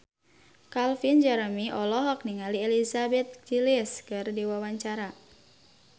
Calvin Jeremy olohok ningali Elizabeth Gillies keur diwawancara